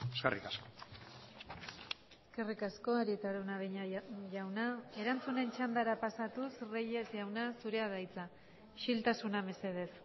eskerrik asko eskerrik asko arieta araunabeña jauna erantzunen txandara pasatuz reyes jauna zurea da hitza isiltasuna mesedez